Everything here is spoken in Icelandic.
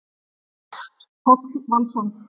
Páll Valsson.